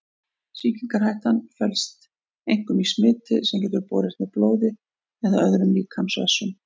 Sýkingarhættan felst einkum í smiti sem getur borist með blóði eða öðrum líkamsvessum.